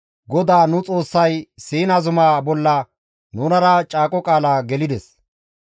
GODAA nu Xoossay Siina zumaa bolla nunara caaqo qaala gelides.